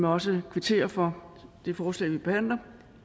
også kvittere for det forslag vi behandler